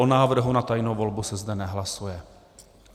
O návrhu na tajnou volbu se zde nehlasuje.